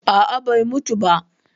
Aa, bai mutu ba.